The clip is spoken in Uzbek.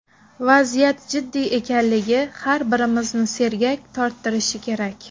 Vaziyat jiddiy ekanligi har birimizni sergak torttirishi kerak.